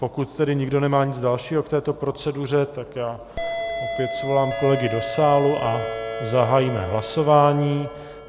Pokud tedy nikdo nemá nic dalšího k této proceduře, tak já opět svolám kolegy do sálu a zahájíme hlasování.